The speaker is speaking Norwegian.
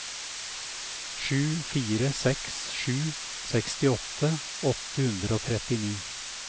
sju fire seks sju sekstiåtte åtte hundre og trettini